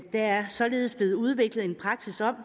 er således blevet udviklet en praksis om